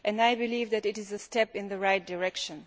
I believe that it is a step in the right direction.